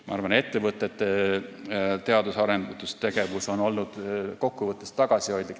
Ma arvan, et ettevõtete teadus- ja arendustegevus on olnud kokkuvõttes tagasihoidlik.